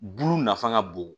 Bulu nafa ka bon